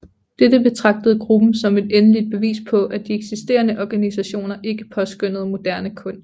Dette betragtede gruppen som det endelige bevis på at de eksisterende organisationer ikke påskønnede moderne kunst